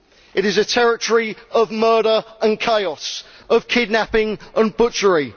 It is a territory of murder and chaos, of kidnapping and butchery.